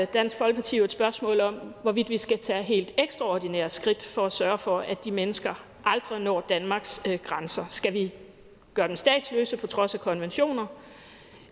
dansk folkeparti jo et spørgsmål om hvorvidt vi skal tage helt ekstraordinære skridt for at sørge for at de mennesker aldrig når danmarks grænser skal vi gøre dem statsløse på trods af konventioner